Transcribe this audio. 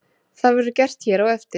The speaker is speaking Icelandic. það verður gert hér á eftir